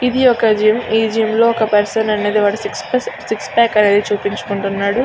ఇది ఒక జిం . ఈ జిం ఒక పర్సన్ వాడి సిక్స్ ప్యాక్ చూయించుకుంటున్నాడు.